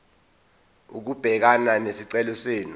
ukubhekana nesicelo senu